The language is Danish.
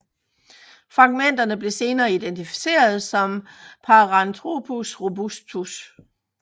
Fragmenterne blev senere identificeret som Paranthropus robustus